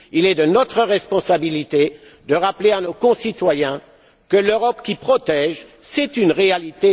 Il est de notre responsabilité de rappeler à nos concitoyens que l'Europe qui protège, c'est une réalité.